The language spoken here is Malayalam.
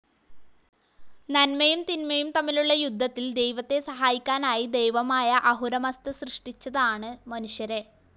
നന്മയും തിന്മയും തമ്മിലുള്ള യുദ്ധത്തിൽ ദൈവത്തെ സഹായിക്കാനായി ദൈവമായ അഹുരമസ്ഥ സൃഷ്ടിച്ചതാണ് മനുഷ്യരെ.